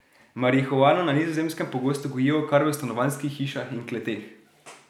Marihuano na Nizozemskem pogosto gojijo kar v stanovanjskih hišah in kleteh.